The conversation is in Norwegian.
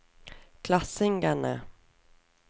klassingene